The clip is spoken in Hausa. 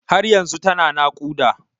Har yanzu tana naƙuda.